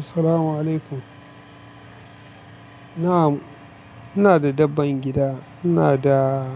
Assalamu alaikum. Na am, ina da dabban gida. Ina da